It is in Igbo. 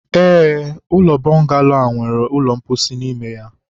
ee, ụlọ bọngalo a nwere ụlọ mposi n'ime ya.